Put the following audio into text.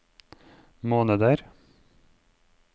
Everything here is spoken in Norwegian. måneder